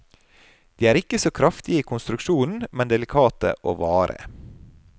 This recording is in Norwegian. De er ikke så kraftige i konstruksjonen, men delikate og vare.